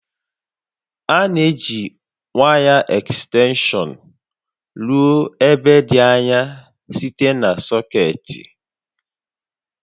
A na-eji waya ekstenshọn ruo ebe dị anya site na sọkeetị